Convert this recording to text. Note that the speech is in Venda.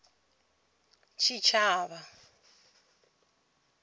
tshitshavha